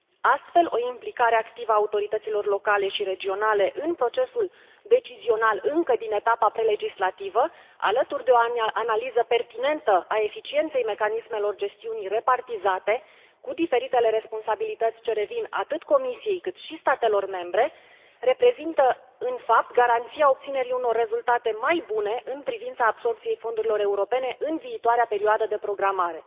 Astfel, o implicare activă a autorităților locale și regionale în procesul decizional încă din etapa prelegislativă, alături de o analiză pertinentă a eficienței mecanismelor gestiunii repartizate, cu diferitele responsabilități ce revin atât Comisiei, cât și statelor membre, reprezintă în fapt garanția obținerii unor rezultate mai bune în privința absorbției fondurilor europene în viitoarea perioadă de programare.